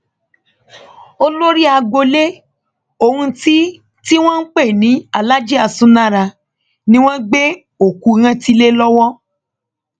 olórí agboolé ohun tí tí wọn ń pè ní aláàjì aṣúnára ni wọn gbé òkú rántí lé lọwọ